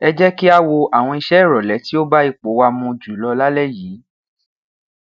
ẹ jẹ ki a wo awọn iṣe irọlẹ ti o ba ipo wa mu julọ lalẹ yii